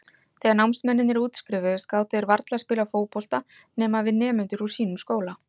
Þegar námsmennirnir útskrifuðust gátu þeir varla spilað fótbolta nema við nemendur úr sínum skóla.